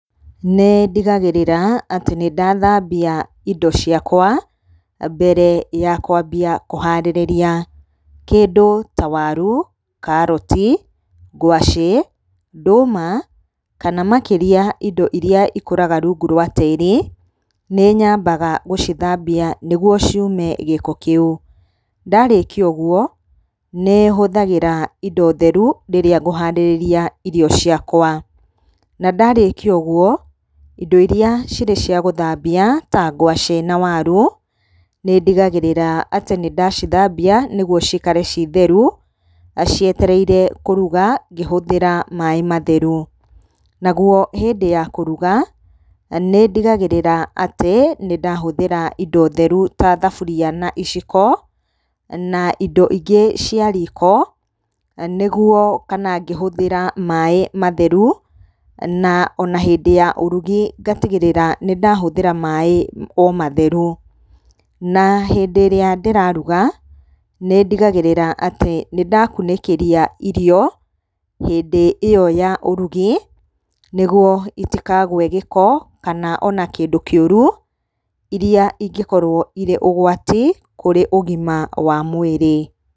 Nĩndigagĩrĩra atĩ nĩndathambia indo ciakwa mbere ya kwambia kũharĩrĩria. Kĩndũ ta waru, karoti, ngwacĩ, ndũma kana makĩria indo iria ikũraga rungu rwa tĩri, nĩnyambaga gũcithambia nĩguo ciume gĩko kĩu. Ndarĩkia ũguo nĩhũthagĩra indo theru rĩrĩa ngũharĩrĩria irio ciakwa. Nandarĩkia ũguo, indo iria irĩ cia gũthambia ta ngwacĩ na waru, nĩndigagĩrĩra atĩ nĩndacithambia nĩguo cikare cirĩ theru cietereire kũruga, ngĩhũthĩra maaĩ matheru. Naguo hĩndĩ ya kũruga nĩndigagĩrĩra atĩ nĩndahũthĩra indo theru ta thaburia na iciko na indo ingĩ cia riko ngĩhũthĩra maaĩ matheru. Na ona hĩndĩ ya ũrugi ngatigĩrĩra nĩndahũthĩra o maaĩ matheru. Na hĩndĩ ĩrĩa ndĩraruga, nĩndigagĩrĩra atĩ nĩndakunĩkĩria irio, hĩndĩ ĩyo ya ũrugi nĩguo itikagwe gĩko kana ona kĩndũ kĩũru, iria ingĩkorwo irĩ ũgwati kũrĩ ũgima wa mwĩrĩ.